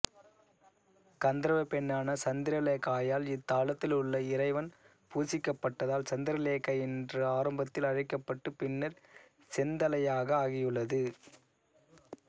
கந்தர்வப்பெண்ணான சந்திரலேகையால் இத்தலத்திலுள்ள இறைவன் பூசிக்கப்பட்டதால் சந்திரலேகை என்று ஆரம்பத்தில் அழைக்கப்பட்டு பின்னர் செந்தலையாக ஆகியுள்ளது